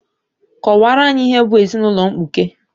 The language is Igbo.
Kọwaara anyị ihe bụ ezinaụlọ mkpuke!